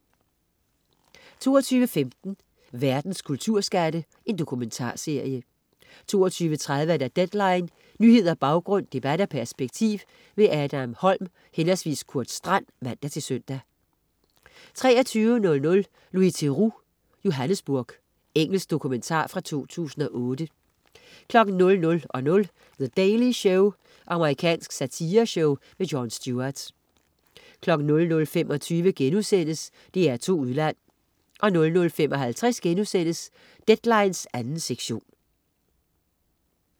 22.15 Verdens kulturskatte. Dokumentarserie 22.30 Deadline. Nyheder, baggrund, debat og perspektiv. Adam Holm/Kurt Strand (man-søn) 23.00 Louis Theroux: Johannesburg. Engelsk dokumentar fra 2008 00.00 The Daily Show. Amerikansk satireshow. Jon Stewart 00.25 DR2 Udland* 00.55 Deadline 2. sektion*